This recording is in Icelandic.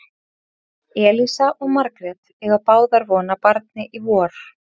Elísa og Margrét eiga báðar von á barni í vor.